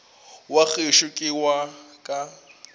wa gešo ke wa ka